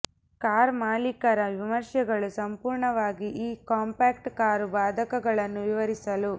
car ಮಾಲೀಕರ ವಿಮರ್ಶೆಗಳು ಸಂಪೂರ್ಣವಾಗಿ ಈ ಕಾಂಪ್ಯಾಕ್ಟ್ ಕಾರು ಬಾಧಕಗಳನ್ನು ವಿವರಿಸಲು